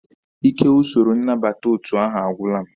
Ike usoro nnabata otu ahụ agwụla m.